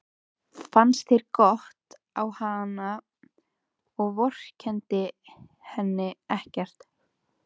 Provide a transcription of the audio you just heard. Fannst það gott á hana og vorkenndi henni ekkert.